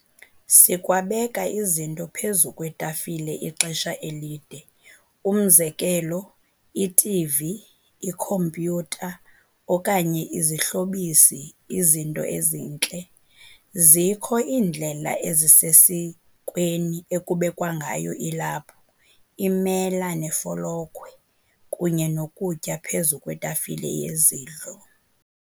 Sikwabeka izinto phezu kwetafile ixesha elide, umzekelo, i-TV, ikhompyutha okanye izihlobisi, izinto ezintle. Zikho iindlela ezisesikweni ekubekwa ngayo ilaphu, iimela neefolokhwe kunye nokutya phezu kwetafile yezidlo.